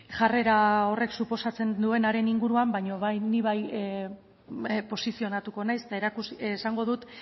jarrera horrek suposatzen duenaren inguruan baina bai ni bai posizionatuko naiz eta esango dut